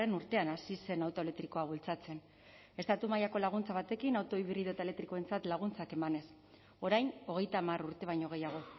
urtean hasi zen auto elektrikoa bultzatzen estatu mailako laguntza batekin auto hibrido eta elektrikoentzat laguntzak emanez orain hogeita hamar urte baino gehiago